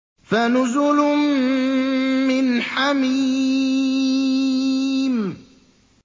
فَنُزُلٌ مِّنْ حَمِيمٍ